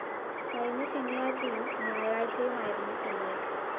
കഴിഞ്ഞ ശനിയാഴ്ചയും ഞായറാഴ്ചയുമായിരുന്നു സംഭവം